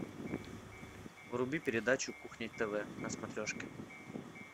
вруби передачу кухня тв на смотрешке